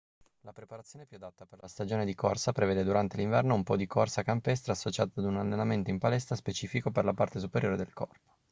la preparazione più adatta per la stagione di corsa prevede durante l'inverno un po' di corsa campestre associata ad un allenamento in palestra specifico per la parte superiore del corpo